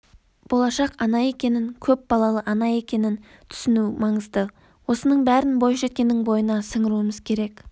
болашақ ана екенін көп балалы ана екенін түсіну маңызды осының бәрін бойжеткеннің бойына сіңіруіміз керек